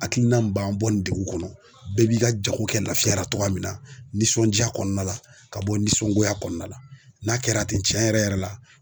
Hakilina min b'an bɔ nin degun kɔnɔ, bɛɛ b'i ka jago kɛ lafiyara togoya min na, nisɔndiya kɔnɔna la ka bɔ nisɔngoya kɔnɔna la n'a kɛra ten tiɲɛ yɛrɛ yɛrɛ la